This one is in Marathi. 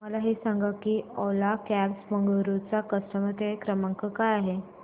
मला हे सांग की ओला कॅब्स बंगळुरू चा कस्टमर केअर क्रमांक काय आहे